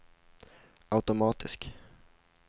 automatisk